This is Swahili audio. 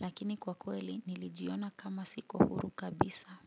Lakini kwa kweli nilijiona kama siko huru kabisa.